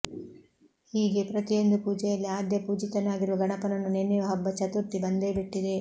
ಹೀಗೆ ಪ್ರತಿಯೊಂದೂ ಪೂಜೆಯಲ್ಲಿ ಆದ್ಯ ಪೂಜಿತನಾಗಿರುವ ಗಣಪನನ್ನು ನೆನೆಯುವ ಹಬ್ಬ ಚತುರ್ಥಿ ಬಂದೇ ಬಿಟ್ಟಿದೆ